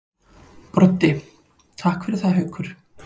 Broddi: Takk fyrir það Haukur.